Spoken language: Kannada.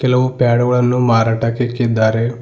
ಕೆಲವು ಪ್ಯಾಡ್ ಗಳನ್ನು ಮಾರಾಟ ಇಕ್ಕಿದ್ದಾರೆ.